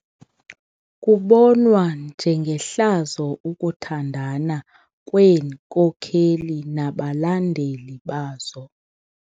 Kubonwa njengehlazo ukuthandana kweenkokeli nabalandeli bazo.